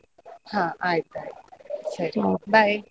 ಹ ಆಯ್ತಾಯ್ತು ಸರಿ, bye .